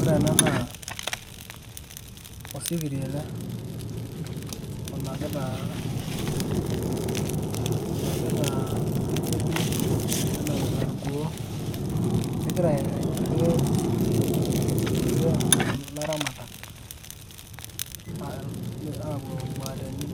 ore ena naa osikiria ele, onapita, onapitaa, impirbili, nenapita irkuoo, kegira aidurie ilaramatak, aapuo iramuateni,